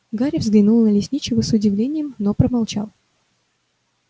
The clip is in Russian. гарри взглянул на лесничего с удивлением но промолчал